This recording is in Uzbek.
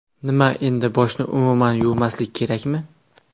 Nima, endi boshni umuman yuvmaslik kerakmi?